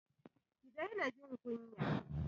Ki daina jin kunya.